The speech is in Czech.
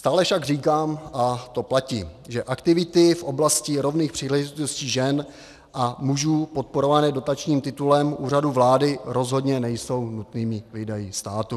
Stále však říkám, a to platí, že aktivity v oblasti rovných příležitostí žen a mužů podporované dotačním titulem Úřadu vlády rozhodně nejsou nutnými výdaji státu.